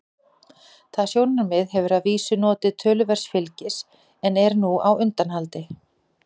Það sjónarmið hefur að vísu notið töluverðs fylgis en er nú á undanhaldi.